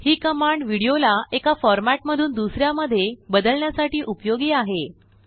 हिकमांड विडियोलाएकाफॉर्मेट मधूनदूसऱ्या मध्येबदलण्यासाठीउपयोगी आहे